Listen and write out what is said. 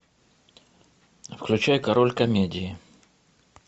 включай король комедии